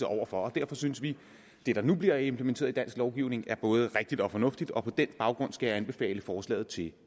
over for og derfor synes vi at det der nu bliver implementeret i dansk lovgivning både er rigtigt og fornuftigt og på den baggrund skal jeg anbefale forslaget til